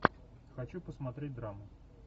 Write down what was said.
хочу посмотреть драму